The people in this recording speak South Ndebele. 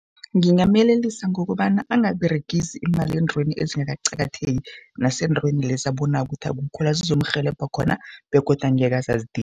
Ngingamyelelisa ngokobana angaberegisi imali eentweni ezingakaqakatheki, naseendaweni lezi ababonako kuthi akukho la zizomrhelebha khona begodu angekhe aze azidinge.